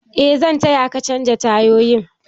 Eh zan taya ka canja tayoyin